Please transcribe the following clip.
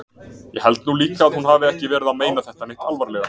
Ég held nú líka að hún hafi ekki verið að meina þetta neitt alvarlega.